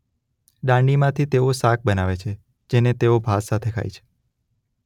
દાંડીમાંથી તેઓ શાક બનાવે છે જેને તેઓ ભાત સાથે ખાય છે.